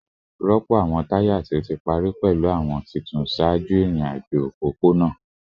Rọpo awọn taya ti o ti pari pẹlu awọn tuntun ṣaaju irin-ajo opopona atẹle